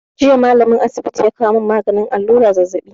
Jiya ma'aikacin asibiti ya kawo mun maganin allura zazzabi